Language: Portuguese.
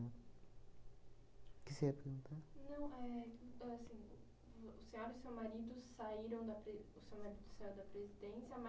O que você ia perguntar? Não. Éh, ahn assim, vo o senhora e o seu marido saíram da pre o seu marido saiu da presidência,